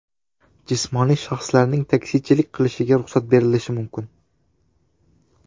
Jismoniy shaxslarning taksichilik qilishiga ruxsat berilishi mumkin.